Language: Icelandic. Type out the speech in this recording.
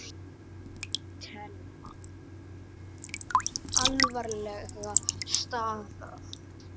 Telma: Alvarleg staða?